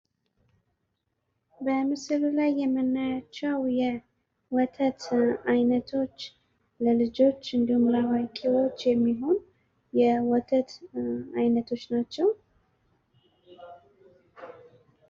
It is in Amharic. በምስሉ ላይ የምናያቸው የወተት አይነቶች ለልጆች እንዲሁም ለአዋቂዎች የሚሆን የወተት አይነቶች ናቸው።